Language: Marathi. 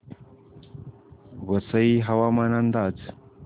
वसई हवामान अंदाज